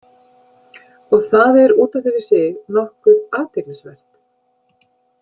Og það er út af fyrir sig nokkuð athyglisvert.